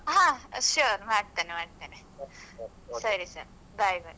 ಹಾ sure ಮಾಡ್ತೇನೆ ಮಾಡ್ತೇನೆ. ಸರಿ sir bye bye.